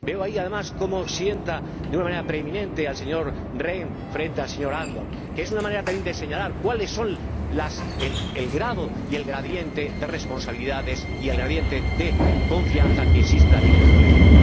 Veo, ahí, además, como sienta de una manera preeminente al señor Rehn frente al señor Andor, lo que es una manera, también, de señalar cuáles son el grado y el gradiente de responsabilidades y el gradiente de confianza que existe también en el Colegio.